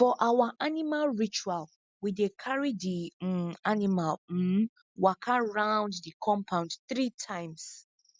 for our animal ritual we dey carry the um animal um waka round the compound three times